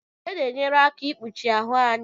Uwe na-enyere aka ikpuchi ahụ anyị.